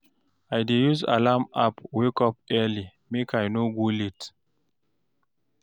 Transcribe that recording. I dey use alarm app wake up early, make I no go late.